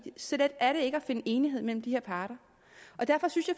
så let er det ikke at finde enighed mellem de her parter derfor synes